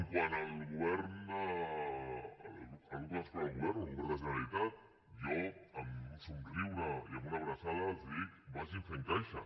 quant al grup que dona suport al govern al govern de la generalitat jo amb un somriure i amb una abraçada els dic vagin fent caixa